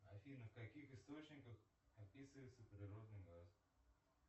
афина в каких источниках описывается природный газ